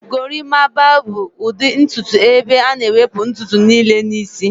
Gorimapaa bụ ụdị ntutu ebe a na-ewepụ ntutu niile n'isi